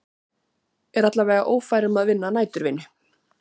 Er alla vega ófær um að vinna næturvinnu.